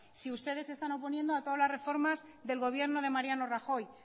si ustedes se están oponiendo a todas las reformas del gobierno de mariano rajoy